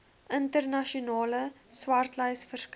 internasionale swartlys verskyn